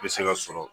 Bɛ se ka sɔrɔ